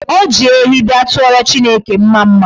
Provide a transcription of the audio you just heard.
O ji ehi bịa tụọrọ Chineke mmamma.